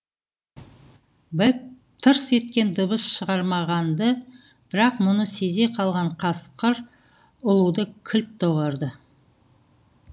бэк тырс еткен дыбыс шығармаған ды бірақ мұны сезе қалған қасқыр ұлуды кілт доғарды